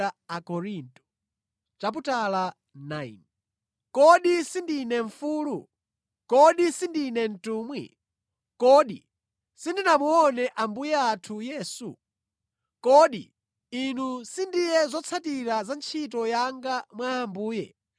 Kodi sindine mfulu? Kodi sindine mtumwi? Kodi sindinamuone Ambuye athu Yesu? Kodi inu sindiye zotsatira za ntchito yanga mwa Ambuye?